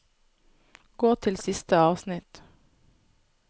Gå til siste avsnitt